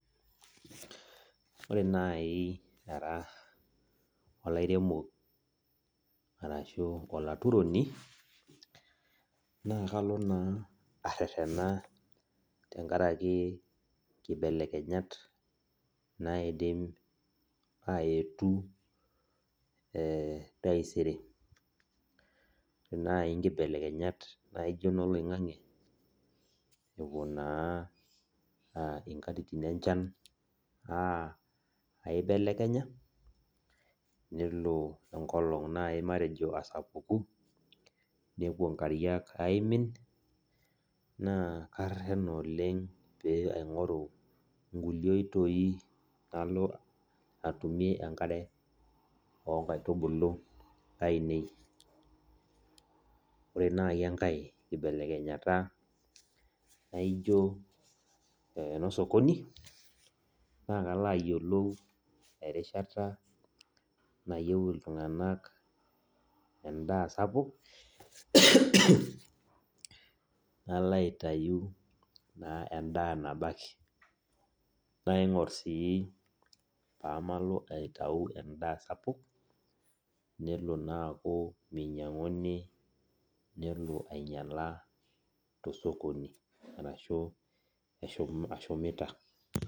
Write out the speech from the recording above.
Ore nai ara olairemo arashu olaturoni, naa kalo naa arrerrena tenkaraki nkibelekenyat naidim aetu taisere. Ore nai nkibelekenyat naijo noloing'ang'e, epuo naa inkatitin aibelekenya, nelo enkolong nai matejo asapuku, nepuo nkariak aimin, naa karrerrena oleng pee aing'oru nkulie oitoi nalo atumie enkare onkaitubulu ainei. Ore nai enkae kibelekenyata naijo eno sokoni, na kalo ayiolou erishata nayieu iltung'anak endaa sapuk, nalo aitayu naa endaa nabaki. Naing'or si pamalo aitau endaa sapuk, nelo naa aku minyang'uni nelo ainyala tosokoni, arashu ashumita.